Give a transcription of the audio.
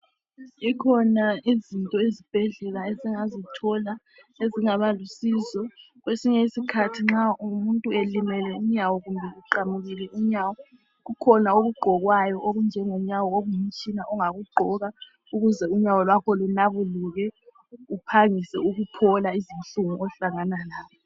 Zikhona izinto ezibhedlela esingazithola ezingabalusizo. Kwesinye isikhathi nxa umuntu elimele unyawo kumbe eqamukile inyawo kukhona okugqokwayo okunjenyawo okungumtshina ongakugqoka ukuze unyawo lwakho lunwabuluke uphangise ukuphola izinhlungu ohlangana lazo.